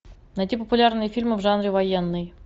найти популярные фильмы в жанре военный